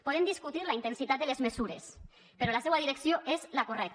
podem discutir la intensitat de les mesures però la seua direcció és la correcta